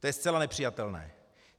To je zcela nepřijatelné.